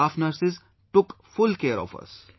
The staff nurses took full care of us